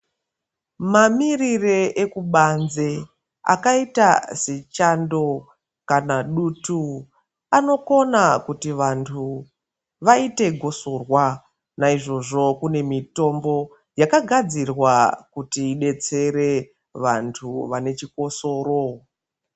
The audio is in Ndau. Mamiriro ekubanze akaita sechando kana dutu anokona kuti vantu vaite gosorwa Naizvozvo kune mitombo yakagadzirwa kuti idetsere vantu vane chikosoro.